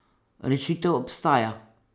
Rešitev obstaja!